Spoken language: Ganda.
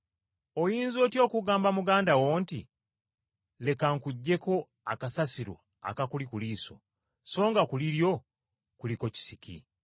Oyinza otya okugamba muganda wo nti, ‘Leka nkuggyeko akasasiro akakuli ku liiso,’ so nga ku liryo kuliko kisiki?